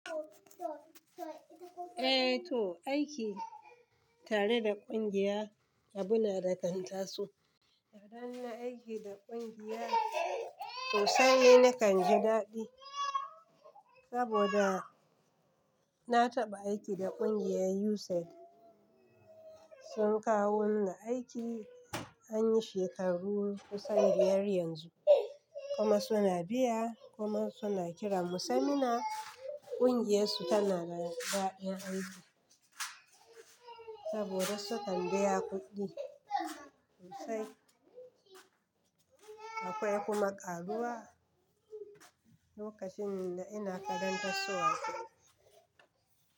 Eh to, aiki tare da kungiya, abu na da kanta so. Idan nayi aiki da kungiya sosai ne na kan ji daɗi. Saboda na taɓa aiki da kungiyar UNISEF, sun kawo mini aiki, an yi shekaru kusan biyar yanzu kuma suna biya kuma suna kiranmu seminar ƙungiyar su tana da daɗin aiki saboda sukan biya kuɗi sosai. Akwai kuma ƙaruwa, lokacin ina karanta su aiki.